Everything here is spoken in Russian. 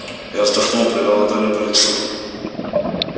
я вздохнул провёл ладонью по лицу